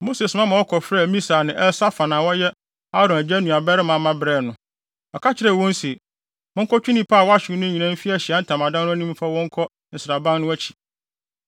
Mose soma ma wɔkɔfrɛɛ Misael ne Elsafan a wɔyɛ Aaron agya nuabarima mma brɛɛ no. Ɔka kyerɛɛ wɔn se, “Monkɔtwe nnipa a wɔahyew no nyinaa mfi Ahyiae Ntamadan no anim mfa wɔn nkɔ nsraban no akyi.”